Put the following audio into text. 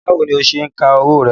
Báwo ni o ṣe ń ka owó rẹ?